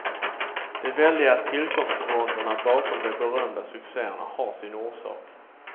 De väldiga tillkomstvåndorna bakom de berömda succeerna har sin orsak.